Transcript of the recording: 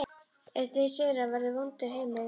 Ef þeir sigra verður vondur heimur verri